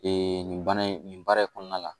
nin baara in nin baara in kɔnɔna la